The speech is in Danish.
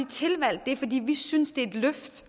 tilvalgt det fordi vi synes det er et løft